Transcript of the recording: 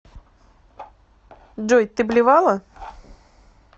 джой ты блевала